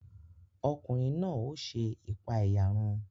Ọkùnrin náà o ṣe ipaeyarun